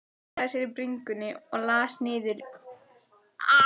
Klóraði sér á bringunni og las hann niður í kjölinn.